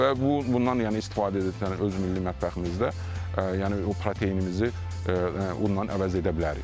Və bu, bundan yəni istifadə edəcəyik öz milli mətbəximizdə, yəni o proteinimizi onunla əvəz edə bilərik.